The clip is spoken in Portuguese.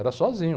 Era sozinho.